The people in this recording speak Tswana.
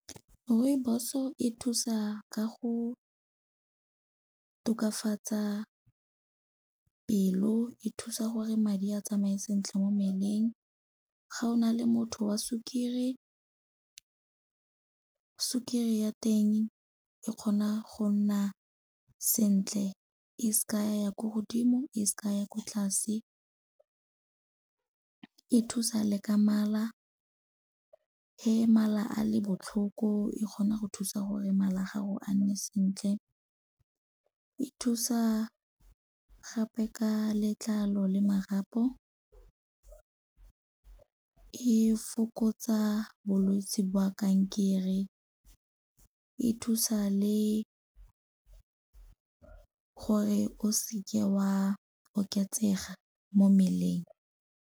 Rooibos-o e thusa ka go tokafatsa pelo, e thusa gore madi a tsamaye sentle mo mmeleng. Ga o na le motho wa sukiri, sukiri ya teng e kgona go nna sentle e seke ya ya ko godimo e seke ya ko tlase. E thusa le ka mala ge mala a le botlhoko e kgona go thusa gore mala a gago a nne sentle. E thusa gape ka letlalo le marapo, e fokotsa bolwetse ba kankere, e thusa le gore o seke wa oketsega mo mmeleng.